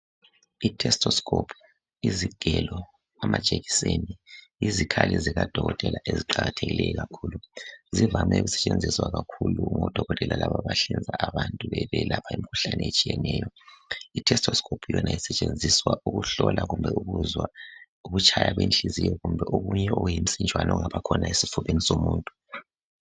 i stethoscope izigelo amajekiseni yiikhali zikadokotela eziqakathekileyo kakhulu zivame ukusetshenziswa zivame ukusetshenziswa kakhulu ngo dokotela laba abahlinza abantu bebelapha imikhuhlane etshiyeneyo i stethoscope yiyona esetshenziswa ukuhlola kumbe ukuzwa ukutshaya kwenhliziyo kumbe okunye okuyimsinjwana okungaba khona esifubeni somuntu